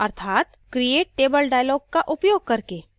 अर्थात create table dialog का उपयोग करके